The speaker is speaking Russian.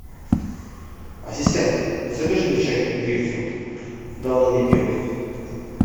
ассистент закажи мне чай гринфилд давно не пил